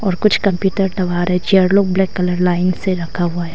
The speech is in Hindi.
और कुछ कंप्यूटर चेयर लोग ब्लैक कलर लाइन से रखा हुआ है।